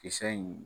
Kisɛ in